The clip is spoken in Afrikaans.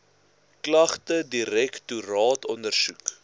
klagte direktoraat ondersoek